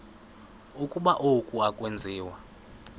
ukuba oku akwenziwa